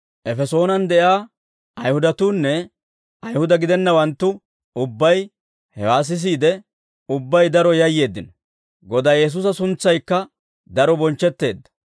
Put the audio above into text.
Efesoonen de'iyaa Ayihudatuunne Ayihuda gidennawanttu ubbay hewaa sisiide ubbay daro yayyeeddino; Godaa Yesuusa suntsaykka daro bonchchetteedda.